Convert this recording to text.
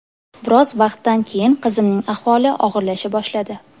Biroz vaqtdan keyin qizimning ahvoli og‘irlasha boshladi.